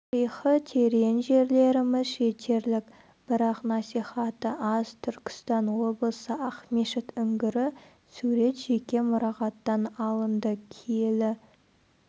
тарихы терең жерлеріміз жетерлік бірақ насихаты аз түркістан облысы ақмешіт үңгірі сурет жеке мұрағаттан алынды киелі